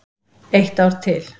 Eitt ár til.